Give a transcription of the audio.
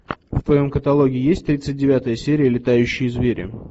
в твоем каталоге есть тридцать девятая серия летающие звери